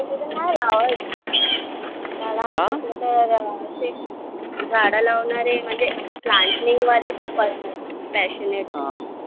लावायचे. झाडं लावणारे म्हणजे plantning वाले खूप असतात passionate.